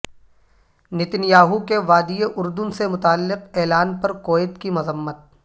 Nitin Yahoo کے وادی اردن سے متعلق اعلان پر کویت کی مذمت